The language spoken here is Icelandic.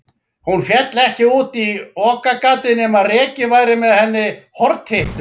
Hún féll ekki út í okagatið nema rekinn væri með henni hortittur.